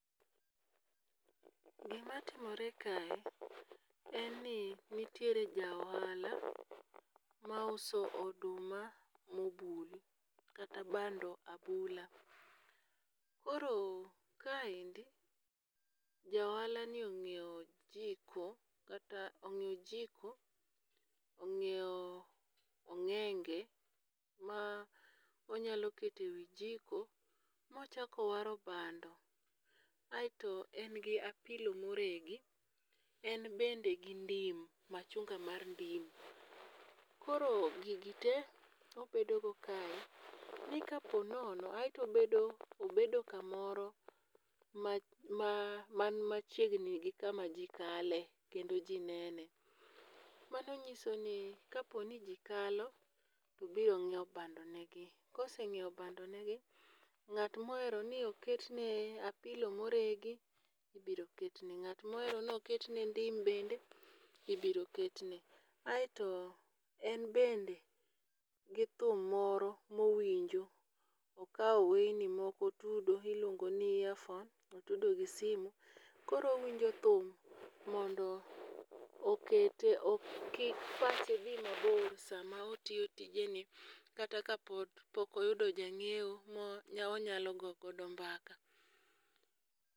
Gimatimore kae, en ni nitiere ja ohala mauso oduma mobul kata bando abula, koro kaendi ja ohalani onyiewo jiko kata onyiweo jiko, onyiewo ong'enge ma onyalo kete e wi jiko mochako waro bando aeto en gi apilo moregi, en bende gi ndim machunga mar ndim, koro gigite obedogo kae, ni ka po nono aeto obedo obedo kamoro man machiegni gi kama ji kale kendo ji nene, mano nyisoni kaponi ji kalo to biro nyiewo bandonegi, kosenyiewo bandonegi ng'at ma ohero ni ok ketne apilo moregi ibiro ketne, ng'at ma ohero ni ok ketne ndim bende ibiro ketne. Aeto en bende gi thum moro mowinjo okawo weyni moko otudo miluongo ni earphone otudo gi simu, koro owinjo thum mondo okete kik pache thi mabor sama otiyo tijeni kata ka pok oyudo janyiewo moro ma onyalo gogodo mbaka